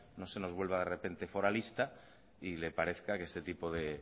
no se nos vuelva de repente foralista y le parezca que este tipo de